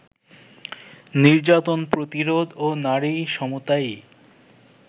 নির্যাতন প্রতিরোধ ও নারী সমতাই